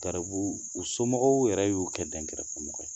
Garibu, u somɔgɔw yɛrɛ y'u o kɛ dɛn kɛrɛfɛmɔgɔ ye.